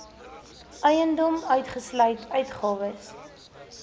eiendom uitgesluit uitgawes